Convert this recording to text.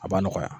A b'a nɔgɔya